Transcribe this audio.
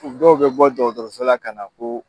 U dɔw be bɔ dɔgɔtɔrɔsola ka na ko